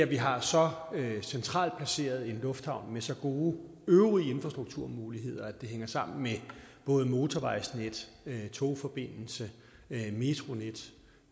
vi har så centralt placeret en lufthavn med så gode øvrige infrastrukturmuligheder at det hænger sammen med både motorvejsnet togforbindelse metronet